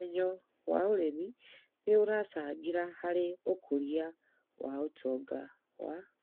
ũmenyo wa ũrĩmi nĩ ũracangĩra harĩ ũkũria wa ũtonga wa